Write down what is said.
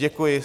Děkuji.